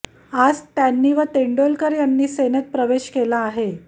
आज त्यांनी व तेंडोलकर यांनी सेनेत प्रवेश केला आहे